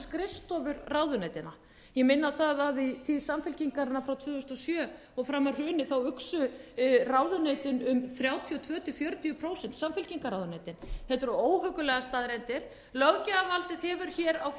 skrifstofur ráðuneytanna ég minni á það að í tíð samfylkingarinnar frá tvö þúsund og sjö og fram að hruni uxu ráðuneytin um þrjátíu og tvö til fjörutíu prósent samfylkingarráðuneytin þetta eru óhuggulegar staðreyndir löggjafarvaldið hefur á